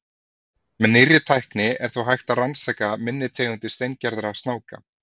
með nýrri tækni er þó hægt að rannsaka minni tegundir steingerðra snáka